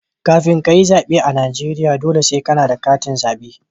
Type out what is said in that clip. Kafin kayi tsaɓe a Najeriya, dole sai kana da katin zaɓe.